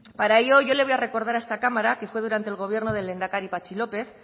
para ello yo le voy a recordar a esta cámara que fue durante el gobierno del lehendakari patxi lópez